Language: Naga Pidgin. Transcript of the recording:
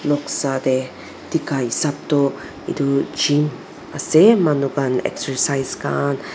noksa te dekha hesap to etu gym ase manu khan exercise khan--